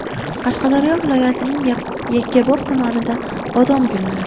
Qashqadaryo viloyatining Yakkabog‘ tumanida bodom gulladi.